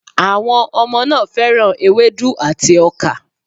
Àwọn ọmọ náà fẹ́ràn ewédú àti ọkà